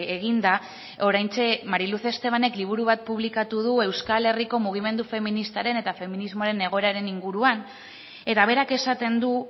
eginda oraintxe mari luz estebanek liburu bat publikatu du euskal herriko mugimendu feministaren eta feminismoaren egoeraren inguruan eta berak esaten du